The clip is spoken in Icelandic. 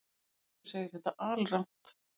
Eiríkur segir þetta alrangt.